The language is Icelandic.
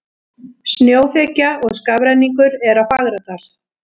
Snjóþekja og skafrenningur er á Fagradal